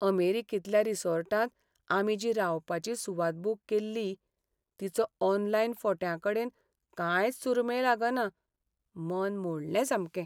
अमेरिकेंतल्या रिसॉर्टांत आमी जी रावपाची सुवात बूक केल्ली तिचो ऑनलायन फोट्यांकडेन कांयच सूरमेळ लागना. मन मोडलें सामकें!